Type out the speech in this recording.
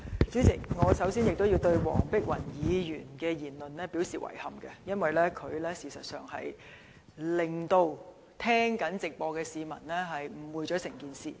主席，首先，我要對黃碧雲議員的言論表示遺憾，因為她會令正在收聽立法會會議直播的市民對整件事情有所誤會。